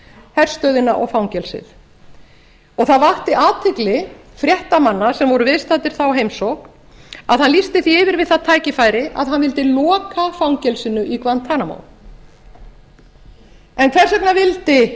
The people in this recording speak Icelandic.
herstöðina og fangelsið það vakti athygli fréttamanna sem voru viðstaddir þá heimsókn að hann lýsti því yfir við það tækifæri að hann mundi loka fangelsinu í guantanamo en hvers vegna vildi